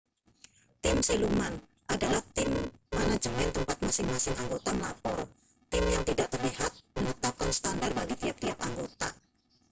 "tim siluman adalah tim manajemen tempat masing-masing anggota melapor. tim yang tidak terlihat menetapkan standar bagi tiap-tiap anggota.